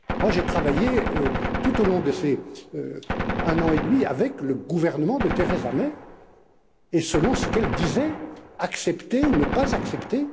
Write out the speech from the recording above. J'ai travaillé tout au long de cette année et demie avec le gouvernement de Theresa May et selon ce qu'elle disait accepter ou ne pas accepter.